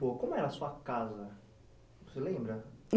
como era a sua casa? você lembra?